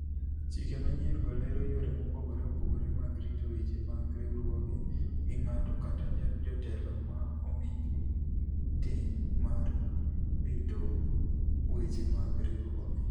Chike manyien-go lero yore mopogore opogore mag rito weche mag riwruoge gi ng'ato kata jotelo ma omi ting' mar rito weche mag riwruoge.